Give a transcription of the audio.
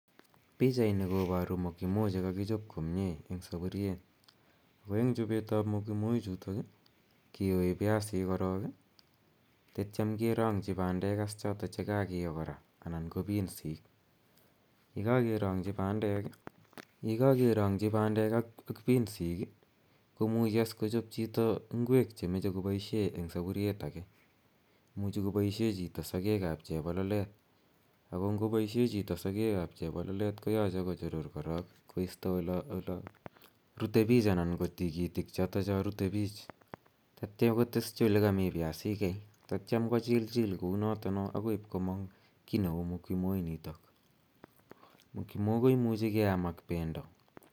Pichani koparu Mokimo che kakichop komye eng' sapuriet ako eng' chopet ap Mokimo ichutok i, kiyoi piasik korok i tetiam kerang'chi pandet chotok che kakiyo kora anan ko pinsik. Ye kakerang'chi pandek ak pinsik i, ko muchi kochop chito ngwek che mache kopoishe eng' sapuriet age. Imuchi kopoishe chito sakeek ap chepololet. Ako ngopoishe chito sakeek ap chepololet koyache kochurur korok koista ola rute piich anan ko tigitik chotocho rutei pich tatia koteschj ole kami piasikei tatiam kochilchil kou notono akoi ipkomang' ki neu Mokimo initok. Mokimo ko muchi keam ak pendo.